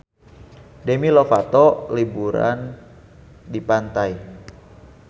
Demi Lovato keur liburan di pantai